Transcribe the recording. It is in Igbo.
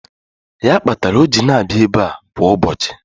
Ya kpatara o ji na-abịa ebe kwa ụbọchị.